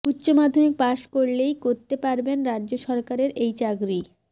উচ্চমাধ্যমিক পাশ করলেই করতে পারবেন রাজ্য সরকারের এই চাকরি